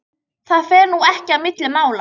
Það fer nú ekki á milli mála